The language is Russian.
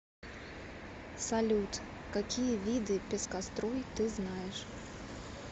салют какие виды пескоструй ты знаешь